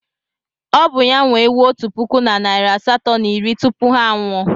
Ọ bụ ya nwe ewu otu puku na narị asatọ na iri tupu ha anwụọ.